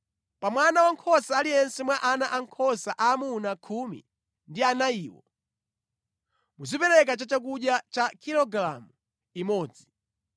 Pa mwana wankhosa aliyense mwa ana ankhosa aamuna khumi ndi anayiwo, muzipereka chakudya cha kilogalamu imodzi.